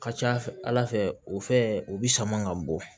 Ka ca ala fɛ ala fɛ o fɛn o bi sama ka bɔ